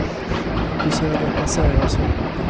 Du ser det passera med en orm av rök på släp.